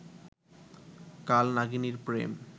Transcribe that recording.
কাল নাগিনীর প্রেম